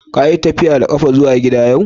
Ka yi tafiya da kafa zuwa gida yau?